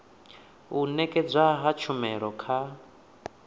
u nekedzwa ha tshumelo kha